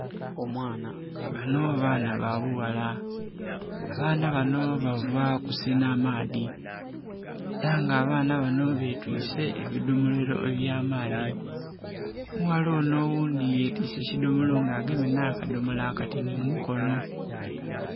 Banho baana babughala, abaana banho bava kusenha maadhi era nga betwise ebidhomolo ebyamaadha, omughala onho oghundhi yetise ekidhomolo nga agemye akadhomolo akatinhi mumukono.